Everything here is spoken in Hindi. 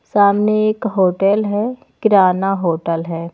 सामने एक होटल है किराना होटल है।